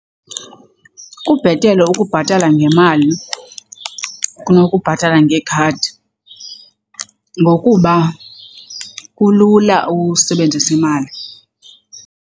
Kubhetele ukubhatala ngemali kunokubhatala ngekhadi ngokuba kulula usebenzisa imali.